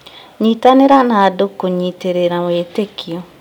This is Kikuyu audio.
Nyitanĩra na andũ kũnyitĩrĩra wĩtĩkio